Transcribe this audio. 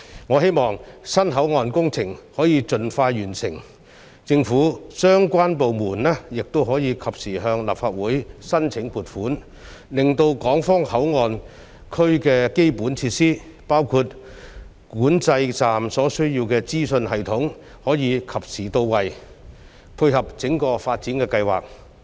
我希望新皇崗口岸的工程可以盡快完成，政府相關部門也可以及時向立法會申請撥款，令港方口岸區的基本設施，包括管制站所需要的資訊系統，可以及時到位，配合整個發展的計劃。